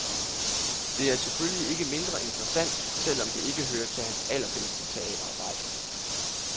Det er selvfølgelig ikke mindre interessant selv om det ikke hører til hans allerbedste teaterarbejde.